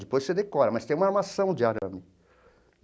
Depois você decora, mas tem uma armação de arame.